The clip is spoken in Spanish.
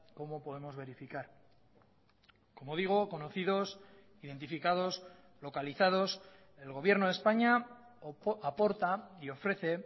como podemos verificar como digo conocidos identificados localizados el gobierno de españa aporta y ofrece